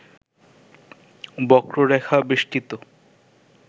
বক্ররেখা বেষ্টিত